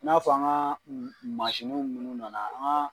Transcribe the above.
N'a f'an ka masniw minnu nana